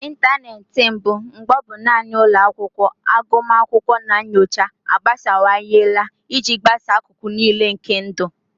Ịntanetị mbụ, mgbe ọ bụ naanị ụlọ akwụkwọ agụmakwụkwọ na nyocha, agbasawanyela iji gbasaa akụkụ niile nke ndụ.